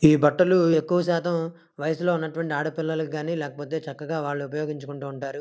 ఈ బట్టలు ఎక్కువ శాతం వయసులో ఉన్న ఆడ పిల్లల్లకు గాని లేకపోతే వాళ్లు చక్కగా ఉపయోగించుకుంటారు.